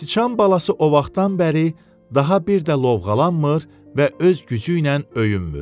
Sıçan balası o vaxtdan bəri daha bir də lovğalanmır və öz gücü ilə öyünmür.